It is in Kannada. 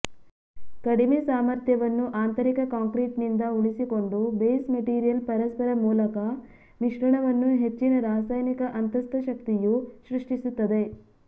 ಕಡಿಮೆ ಸಾಮರ್ಥ್ಯವನ್ನು ಆಂತರಿಕ ಕಾಂಕ್ರೀಟ್ನಿಂದ ಉಳಿಸಿಕೊಂಡು ಬೇಸ್ ಮೆಟೀರಿಯಲ್ ಪರಸ್ಪರ ಮೂಲಕ ಮಿಶ್ರಣವನ್ನು ಹೆಚ್ಚಿನ ರಾಸಾಯನಿಕ ಅಂತಸ್ಥಶಕ್ತಿಯು ಸೃಷ್ಟಿಸುತ್ತದೆ